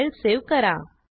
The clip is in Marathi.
फाईल सेव्ह करा